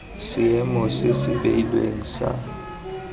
seemo se se beilweng sa